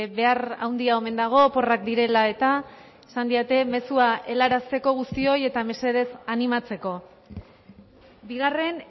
behar handia omen dago oporrak direla eta esan didate mezua helarazteko guztioi eta mesedez animatzeko bigarren